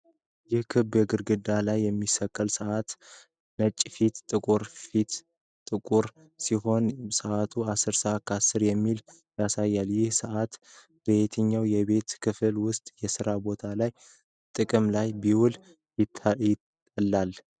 ይህ ክብ ግድግዳ ላይ የሚሰቀል ሰዓት ሲሆን ነጭ ፊት፣ ጥቁር ሰፊ ቁጥሮች እና ሲሆን፣ ሰዓቱ ወደ 10፡10 አካባቢ ያሳያል። ይህ ሰዓት በየትኛው የቤቱ ክፍል ወይም የስራ ቦታ ላይ ጥቅም ላይ ቢውል የተላል?